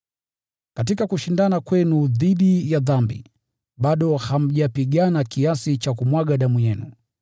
Katika kushindana kwenu dhidi ya dhambi, bado hamjapigana kiasi cha kumwaga damu yenu.